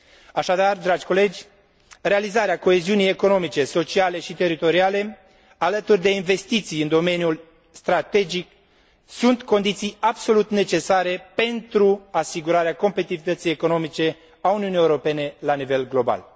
Așadar, dragi colegi, realizarea coeziunii economice, sociale și teritoriale, alături de investiții în domeniul strategic, sunt condiții absolut necesare pentru asigurarea competitivității economice a Uniunii Europene la nivel global.